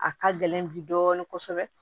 A ka gɛlɛn bi dɔɔnin kosɛbɛ